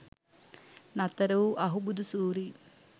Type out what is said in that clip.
නතර වූ අහුබුදු සූරීන්